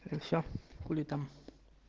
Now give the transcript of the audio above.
и все хули там